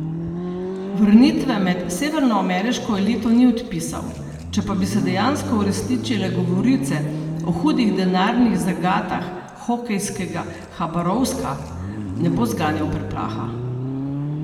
Vrnitve med severnoameriško elito ni odpisal, če pa bi se dejansko uresničile govorice o hudih denarnih zagatah hokejskega Habarovska, ne bo zganjal preplaha.